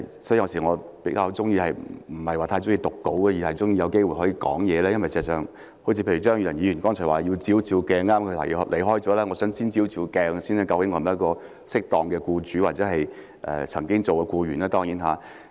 所以，我有時候不太喜歡唸稿，而是喜歡有機會直接發言，因為事實上正如張宇人議員剛才所說，要照一照鏡子——他剛離開會議廳——我想先照一照鏡子，究竟我是否適當的僱主，當然我曾經是僱員。